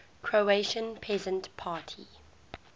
croatian peasant party